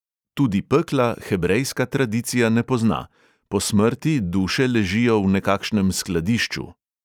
Tudi pekla hebrejska tradicija ne pozna: po smrti duše ležijo v nekakšnem skladišču.